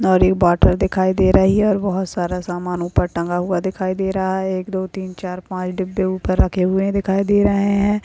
और ये बोतल दिखाई दे रही है और बहुत सारा समान ऊपर टांगा हुआ दिखाई दे रहा है एक दो तीन चार पाच डब्बे ऊपर रखे हुए दिखाई दे रहे है।